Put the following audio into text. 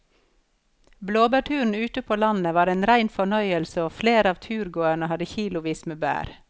Blåbærturen ute på landet var en rein fornøyelse og flere av turgåerene hadde kilosvis med bær.